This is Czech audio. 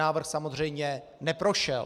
Návrh samozřejmě neprošel.